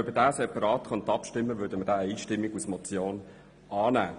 Könnte man separat darüber abstimmen, würden wir ihn einstimmig als Motion annehmen.